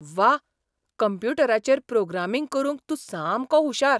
व्वा! कंप्युटराचेर प्रोग्रामिंग करूंक तूं सामको हुशार .